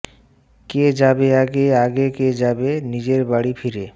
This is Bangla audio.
কে যাবে আগে আগে কে যাবে নিজের বাড়ি ফিরে